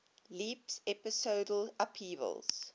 leaps episodal upheavals